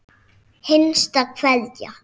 HINSTA KVEÐJA.